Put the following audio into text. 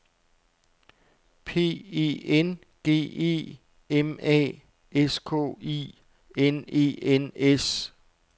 P E N G E M A S K I N E N S